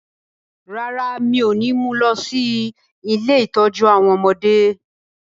Rárá, mi ò ní mú lọ sí “ilé ìtọ́jú àwọn ọmọdé ”